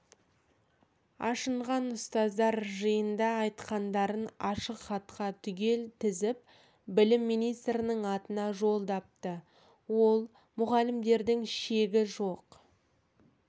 ашынған ұстаздар жиында айтқандарын ашық хатқа түгел тізіп білім министрінің атына жолдапты ал мұғалімдердің шегі жоқ